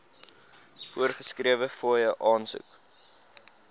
voorgeskrewe fooie aansoek